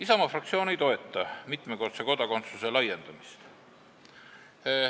Isamaa fraktsioon ei toeta mitmekordse kodakondsuse laiendamist.